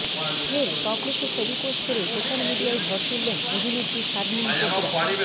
ফের টপলেসে ছবি পোস্ট করে সোশ্যাল মিডিয়ায় ঝড় তুললেন অভিনেত্রী শার্লিন চোপড়া